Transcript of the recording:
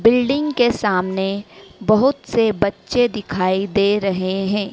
Building के सामने बहुत से बच्चे दिखाई दे रहे है।